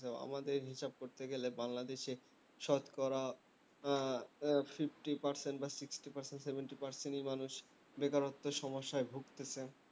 আমাদের হিসেবে করতে গেলে বাংলাদেশ এ শতকরা উহ উহ fifty percent বা sixty percent seventy percent ই মানুষ বেকারত্বের সমস্যায় ভুগছে